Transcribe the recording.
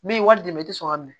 Min ye wari dɛmɛ i tɛ sɔn ka minɛ